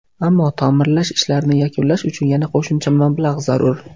Ammo, ta’mirlash ishlarini yakunlash uchun yana qo‘shimcha mablag‘ zarur.